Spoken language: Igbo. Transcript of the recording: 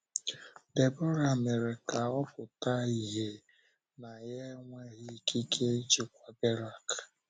Debọra mere ka ọ pụta ìhè na ya enweghị ikike ịchịkwa Berak.